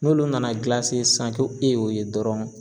N'olu nana gilase sisan ko e y'o ye dɔrɔn